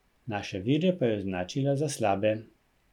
Naše vire pa je označila za slabe.